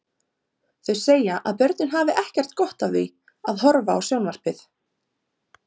Þau segja að börn hafi ekkert gott af því að horfa á sjónvarpið.